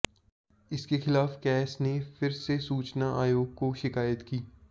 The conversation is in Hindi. इसके खिलाफ कैस ने फिर से सूचना आयोग को शिकायत की